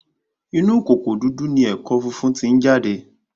Inú kòkò dúdú ni ẹ̀kọ́ funfun tí ń jáde